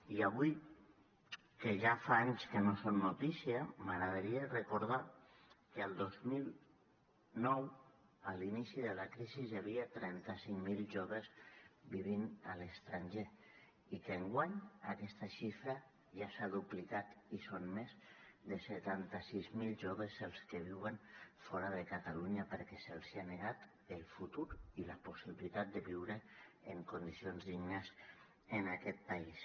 i avui que ja fa anys que no són notícia m’agradaria recordar que el dos mil nou a l’inici de la crisi hi havia trenta cinc mil joves vivint a l’estranger i que enguany aquesta xifra ja s’ha duplicat i són més de setanta sis mil joves els que viuen fora de catalunya perquè se’ls ha negat el futur i la possibilitat de viure en condicions dignes en aquest país